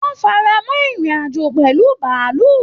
Wọn faramọ irin-ajo pẹlú bàálù.